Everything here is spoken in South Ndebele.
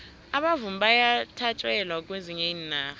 abavumi bayathatjelwa kwezinye iinarha